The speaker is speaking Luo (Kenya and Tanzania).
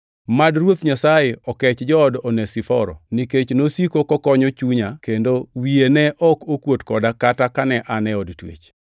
Mad Ruoth Nyasaye okech jood Onesiforo nikech nosiko kokonyo chunya kendo wiye ne ok okuot koda kata kane an e od twech.